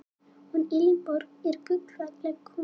Hún Elínborg er gullfalleg kona.